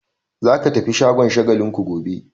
Za ka tafi shagon Shagalinku gobe!